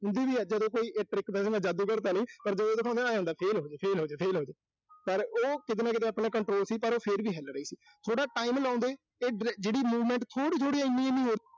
ਮੈਂ ਜਾਦੂਗਰ ਤਾਂ ਨਹੀਂ। ਪਰ ਆਏਂ ਹੁੰਦਾ ਵੀ fail ਹੋਗੇ fail ਹੋਗੇ fail ਹੋਗੇ। ਪਰ ਉਹ ਕਿਤੇ ਨਾ ਕਿਤੇ ਆਪਣਾ control ਸੀ, ਪਰ ਉਹ ਫਿਰ ਵੀ ਹਿੱਲ ਰਹੀ ਸੀ। ਥੋੜਾ time ਲਾਉਂਦੇ ਇਹ ਅਹ ਜਿਹੜੀ movement ਥੋੜੀ-ਥੋੜੀ ਇੰਨੀ-ਇੰਨੀ ਹੋ ਰਹੀ